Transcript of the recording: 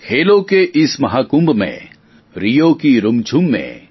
ખેલોં કે ઇસ મહાકુંભ મેં રિયો કી રુમઞુમ મેં